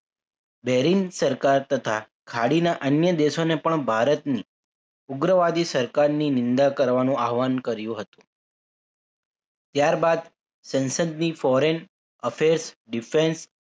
bearing સરકાર તથા ખાડીના અન્ય દેશોને પણ ભારતની ઉગ્રવાદી સરકારની નિંદા કરવાનું આહવાન કર્યું હતું ત્યારબાદ સંસદની foreign affairs defence